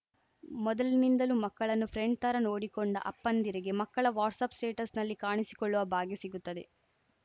ಮೊದಲಿಂದಲೂ ಮಕ್ಕಳನ್ನು ಫ್ರೆಂಡ್‌ ಥರ ನೋಡಿಕೊಂಡ ಅಪ್ಪಂದಿರಿಗೆ ಮಕ್ಕಳ ವಾಟ್ಸಪ್‌ ಸ್ಟೇಟಸ್‌ನಲ್ಲಿ ಕಾಣಿಸಿಕೊಳ್ಳುವ ಭಾಗ್ಯ ಸಿಗುತ್ತದೆ